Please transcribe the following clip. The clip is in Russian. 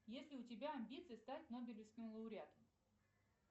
есть ли у тебя амбиции стать нобелевским лоуреатом